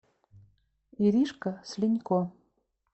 иришка слинько